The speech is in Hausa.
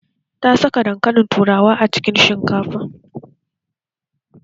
Ta saka dankalin turawa a cikin shinkafan